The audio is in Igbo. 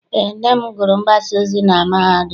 Eé, nne m gụrụ mgbasaozi na mahadum.